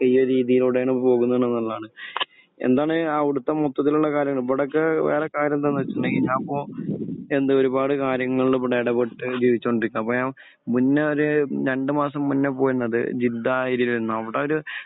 ഈ ഒരു രീതിയിലൂടെയാണ് പോകുന്നുള്ളത് എന്നതാണ്. എന്താണ് അവിടുത്തെ മൊത്തത്തിലുള്ള കാര്യങ്ങൾ? ഇവിടെയൊക്കെ ഏഹ് വേറെ കാര്യം എന്താണെന്ന് വെച്ചിട്ടുണ്ടെങ്കിൽ ഞാൻ പോ...എന്ത് ഒരുപാട് കാര്യങ്ങളിൽ ഇവിടെ ഇടപെട്ട് ജീവിച്ചുകൊണ്ടിരിക്കുകയാണ്. അപ്പോൾ ഞാൻ മുന്നേ ഒരു രണ്ട് മാസം മുന്നേ പോയിരുന്നത് ജിദ്ദാഹ് ഏരിയയിലായിരുന്നു. . അവിടെയൊരു